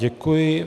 Děkuji.